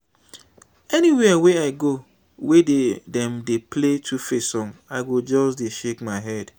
anywhere wey i go wey dem dey play 2face song i go just dey shake my head